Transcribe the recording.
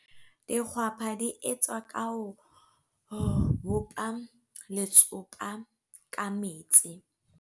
Dikgwapa di etswa ka ho bopa letsopa ka metsi.